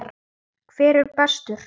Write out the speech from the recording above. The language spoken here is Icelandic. Hver er bestur?